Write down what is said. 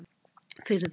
Firði